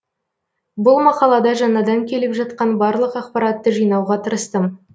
бұл мақалада жаңадан келіп жатқан барлық ақпаратты жинауға тырыстым